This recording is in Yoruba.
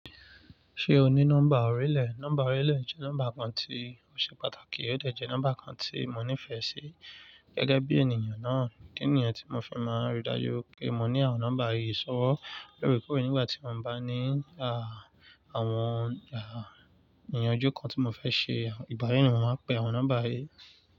Ṣé o ní nọ́mbà orílẹ̀? Nọ́mbà orílẹ̀ jẹ́ nọ́mbà kan tí ó ṣe pàtàkì, ó dẹ̀ jẹ́ nọ́mbà kan tí mo nífẹ̀ẹ́ sí gẹ́gẹ́ bí ènìyàn náà. Ìdí nìyẹn n tí mo fi máa ń ri dájú pé mo ní àwọn nọ́mbà yìí sọ́wọ́ lóorekoore nígbà tí mo ń bá ní àwọn ìyanjú kan tí mo fẹ́ ṣe, ìbà náà ni wọ́n máa pè àwọn nọ́mbà yìí.